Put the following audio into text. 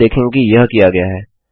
आप देखेंगे कि यह किया गया है